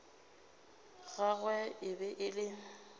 gagwe e be e le